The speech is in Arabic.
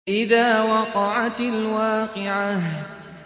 إِذَا وَقَعَتِ الْوَاقِعَةُ